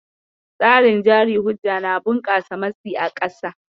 Tsarin jari hujja na bunƙasa matsi a ƙasa.